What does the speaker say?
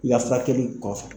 I ka furakɛli kɔfɛ